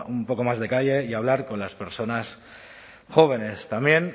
un poco más de calle y hablar con las personas jóvenes también